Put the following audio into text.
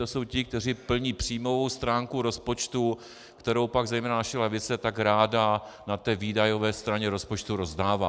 To jsou ti, kteří plní příjmovou stránku rozpočtu, kterou pak zejména naše levice tak ráda na té výdajové straně rozpočtu rozdává.